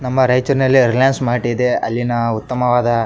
ನಮ್ಮ ರೈಚೂರಿನಲ್ಲಿ ರಿಲಯನ್ಸ್ ಮಾರ್ಟ್ ಇದೆ ಅಲ್ಲಿನ ಉತ್ತಮವಾದ --